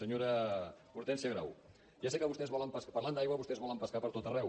senyora hortènsia grau ja sé que vostès volen parlant d’aigua vostès volen pescar per tot arreu